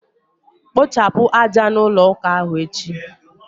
Kpochapụ aja n' ụlọ ụka ahụ echi!